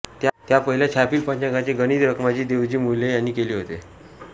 त्या पहिल्या छापील पंचांगाचे गणित रखमाजी देवजी मुले यांनी केले होते